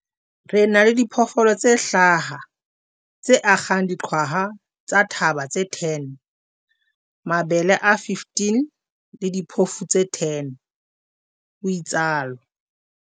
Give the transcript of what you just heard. Re na le diphoofolo tse hlaha, tse akgang diqwaha tsa thaba tse 10, mabele a 15 le diphofu tse 10, o itsalo